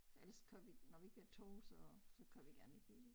For ellers kører vi når vi kører 2 så så kører vi gerne med bil